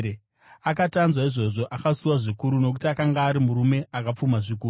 Akati anzwa izvozvo, akasuwa zvikuru, nokuti akanga ari murume akapfuma zvikuru.